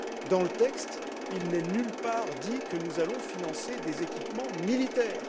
Dans le texte, il n'est nulle part dit que nous allons financer des équipements militaires.